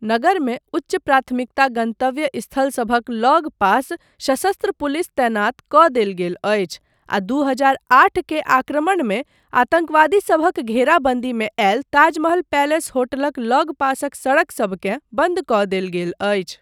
नगरमे उच्च प्राथमिकता गन्तव्य स्थलसभक लग पास सशस्त्र पुलिस तैनात कऽ देल गेल अछि, आ दू हजार आठ के आक्रमणमे आतङ्कवादीसभक घेराबन्दीमे आयल ताजमहल पैलेस होटलक लग पासक सड़कसभकेँ बन्द कऽ देल गेल अछि।